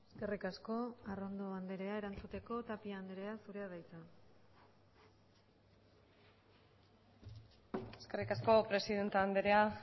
eskerrik asko arrondo andrea erantzuteko tapia andrea zurea da hitza eskerrik asko presidente andrea